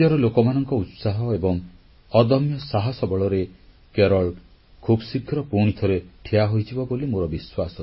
ରାଜ୍ୟର ଲୋକମାନଙ୍କ ଉତ୍ସାହ ଏବଂ ଅଦମ୍ୟ ସାହସ ବଳରେ କେରଳ ଖୁବଶୀଘ୍ର ପୁଣିଥରେ ଠିଆ ହୋଇଯିବ ବୋଲି ମୋର ବିଶ୍ୱାସ